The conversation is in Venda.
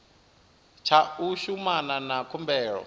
tsha u shumana na khumbelo